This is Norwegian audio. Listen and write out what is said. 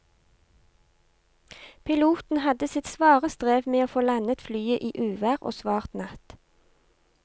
Piloten hadde sitt svare strev med å få landet flyet i uvær og svart natt.